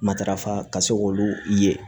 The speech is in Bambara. Matarafa ka se k'olu ye